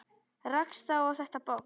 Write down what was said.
Rakst þá á þetta box.